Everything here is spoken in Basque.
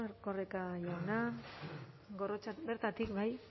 erkoreka jauna bertatik bai